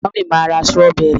mummy ma ra strawberry.